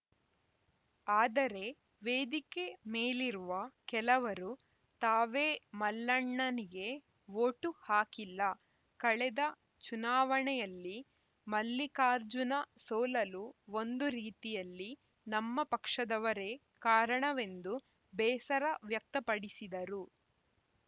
ಆದರೆ ವೇದಿಕೆ ಮೇಲಿರುವ ಕೆಲವರು ತಾವೇ ಮಲ್ಲಣ್ಣನಿಗೆ ವೋಟು ಹಾಕಿಲ್ಲ ಕಳೆದ ಚುನಾವಣೆಯಲ್ಲಿ ಮಲ್ಲಿಕಾರ್ಜುನ ಸೋಲಲು ಒಂದು ರೀತಿಯಲ್ಲಿ ನಮ್ಮ ಪಕ್ಷದವರೇ ಕಾರಣವೆಂದು ಬೇಸರ ವ್ಯಕ್ತಪಡಿಸಿದರು